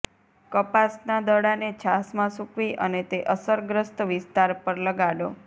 કપાસના દડાને છાશમાં સૂકવી અને તે અસરગ્રસ્ત વિસ્તાર પર લગાડો